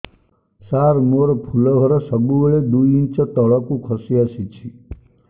ସାର ମୋର ଫୁଲ ଘର ସବୁ ବେଳେ ଦୁଇ ଇଞ୍ଚ ତଳକୁ ଖସି ଆସିଛି